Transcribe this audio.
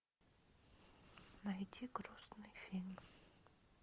найди грустный фильм